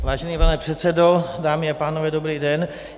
Vážený pane předsedo, dámy a pánové, dobrý den.